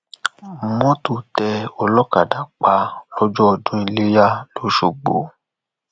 mọtò tẹ olókàdá pa lọjọ ọdún iléyà lọsgbọ